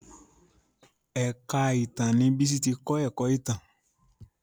èka ìtàn ní Bisi tí ke kò ìtàn.